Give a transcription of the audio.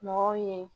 Mɔgɔw ye